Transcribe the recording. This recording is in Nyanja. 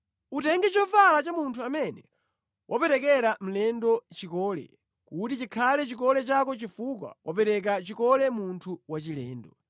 Utenge chovala cha munthu amene waperekera mlendo chikole; kuti chikhale chikole chako chifukwa waperekera chikole munthu wachilendo.